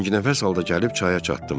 Tənginəfəs halda gəlib çaya çatdım.